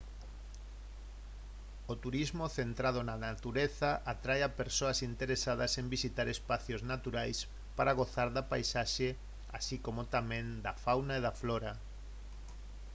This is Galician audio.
o turismo centrado na natureza atrae a persoas interesadas en visitar espazos naturais para gozar da paisaxe así como tamén da fauna e a flora